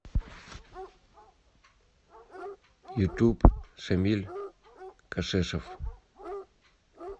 ютуб шамиль кашешов